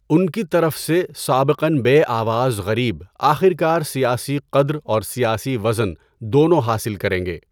ان کی طرف سے، سابقاََ بے آواز غریب آخرکار سیاسی قدر اور سیاسی وزن دونوں حاصل کریں گے۔